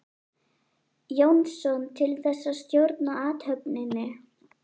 Jónsson til þess að stjórna athöfninni.